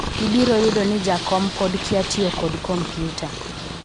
ibiro yudo ni jakom pod kia tiyo kod komputa